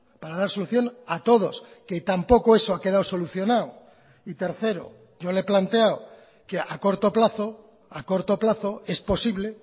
para dar solución a todos que tampoco eso ha quedado solucionado y tercero yo le he planteado que a corto plazo a corto plazo es posible